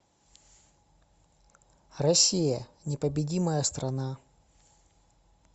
россия непобедимая страна